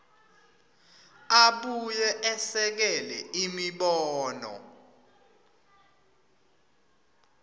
abuye esekele imibono